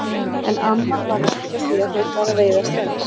En amman var nú ekki á því að þeir færu að veiða strax.